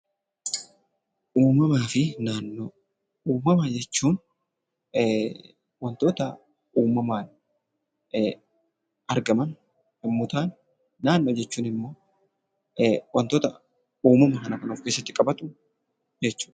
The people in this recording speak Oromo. Uumamaa fi naannoo. Uumama jechuun wantoota uumamaan aragaman yommuu ta'an naannoo jechuun immoo wantoota uumama kana kan of keessatti qabatu jechuudha.